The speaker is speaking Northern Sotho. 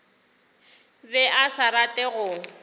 be a sa rate go